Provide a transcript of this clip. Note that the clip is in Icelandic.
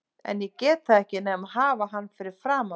En ég get það ekki nema hafa hann fyrir framan mig.